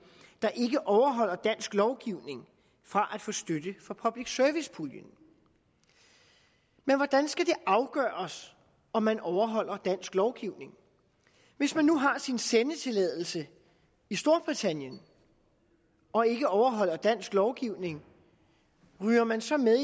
der ikke overholder dansk lovgivning fra at få støtte fra public service puljen men hvordan skal det afgøres om man overholder dansk lovgivning hvis man nu har sin sendetilladelse i storbritannien og ikke overholder dansk lovgivning ryger man så med